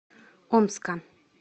омска